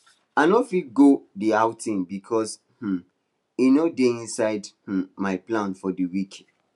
i no fit go the outing because um e no dey inside um my plan for the week